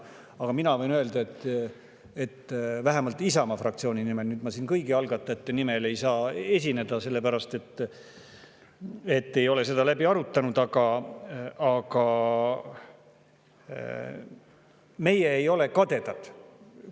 Aga ma võin öelda vähemalt Isamaa fraktsiooni nimel – ma siin kõigi algatajate nimel ei saa esineda, sellepärast et me ei ole seda läbi arutanud –, et meie ei ole kadedad.